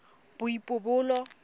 boipobolo